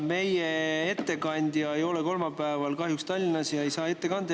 Meie ettekandja ei ole kahjuks kolmapäeval Tallinnas ega saa seda ette kanda.